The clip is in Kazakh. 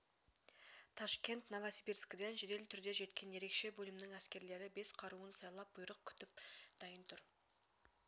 ташкент новосибирскіден жедел түрде жеткен ерекше бөлімнің әскерлері бес қаруын сайлап бұйрық күтіп дайын тұр